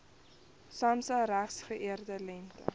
samsa geregistreerde lengte